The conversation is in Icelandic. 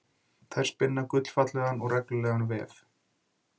Þær spinna gullfallegan og reglulegan vef.